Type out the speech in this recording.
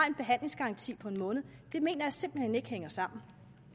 en behandlingsgaranti på en måned det mener jeg simpelt hen ikke hænger sammen